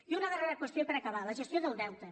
i una darrera qüestió per acabar la gestió del deute